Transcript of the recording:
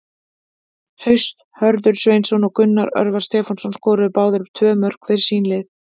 Haust Hörður Sveinsson og Gunnar Örvar Stefánsson skoruðu báðir tvö mörk fyrir sín lið.